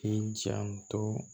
K'i janto